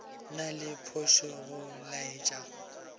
na le phošo go laetša